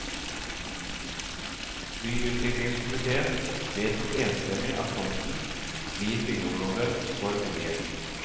Byutviklingskomiteen vedtok enstemmig at tomten, blir byggeområde for boliger.